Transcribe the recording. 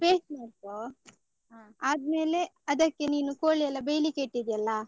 Paste ಮಾಡ್ಕೋ, ಆದ್ಮೇಲೆ ಅದಕ್ಕೆ ನೀನು ಕೋಳಿ ಎಲ್ಲ ಬೆಯ್ಲಿಕ್ಕೆ ಇಟ್ಟಿದ್ಯಲ್ಲ.